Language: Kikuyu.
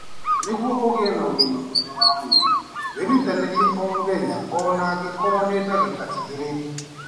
Nĩguo ũgĩe na ũgima mwega wa mwĩrĩ, wĩrutanĩrie o mũthenya o na angĩkorũo nĩ ndagĩka igĩrĩ.